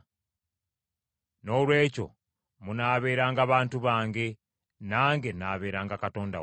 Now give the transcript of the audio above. ‘Noolwekyo munaabeeranga bantu bange, nange n’abeeranga Katonda wammwe.’ ”